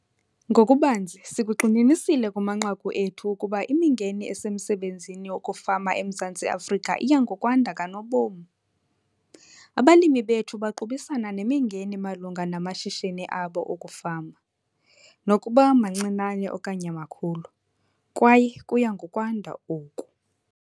NGOKUBANZI, SIKUGXININISILE KUMANQAKU ETHU UKUBA IMINGENI ESEMSEBENZINI WOKUFAMA EMZANTSI AFRIKA IYA NGOKWANDA KANOBOM. ABALIMI BETHU BAQUBISANA NEMINGENI MALUNGA NAMASHISHINI ABO OKUFAMA, NOKUBA MANCINANE OKANYE MAKHULU, KWAYE KUYA NGOKWANDA OKU.